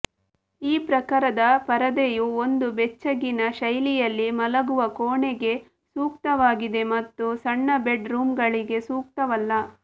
ಈ ಪ್ರಕಾರದ ಪರದೆಯು ಒಂದು ಬೆಚ್ಚಗಿನ ಶೈಲಿಯಲ್ಲಿ ಮಲಗುವ ಕೋಣೆಗೆ ಸೂಕ್ತವಾಗಿದೆ ಮತ್ತು ಸಣ್ಣ ಬೆಡ್ ರೂಮ್ಗಳಿಗೆ ಸೂಕ್ತವಲ್ಲ